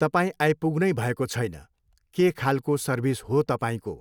तपाईँ आइपुग्नुै भएको छैन, के खालको सर्भिस हो तपाईँको?